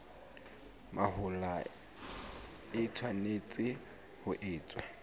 mahola e tshwanetse ho etswa